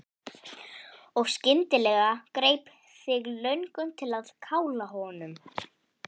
Og skyndilega greip þig löngun til að kála honum.